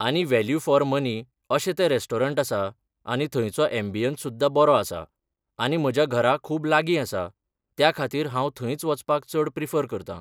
आनी value for money अशें तें रेस्टोरंट आसा आनी थंयचो एम्बियंस सुद्दां बरो आसा आनी म्हज्या घरा खूब लागीं आसा त्या खातीर हांव थंयच वचपाक चड प्रिफर करता.